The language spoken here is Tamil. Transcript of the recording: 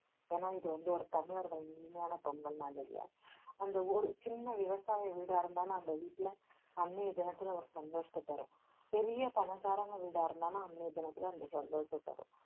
ஏன்னா இது வந்து ஒரு தமிழர்களின் இனிமையான பொங்கல் இல்லையா. அந்த ஒரு சின்ன விவசாய வீடாயிருந்தாலும் அந்த வீட்டுல அன்னைய தினத்துல ஒரு சந்தோஷத்தை தரும். பெரிய பணக்காரங்க வீடா இருந்தாலும் அன்னைய தினத்துல அந்த சந்தோஷத்தை தரும்.